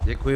Děkuji.